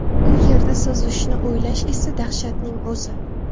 U yerda suzishni o‘ylash esa dahshatning o‘zi.